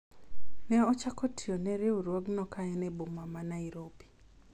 ne ochako tiyo ne riwruogno ka en e boma ma Nairobi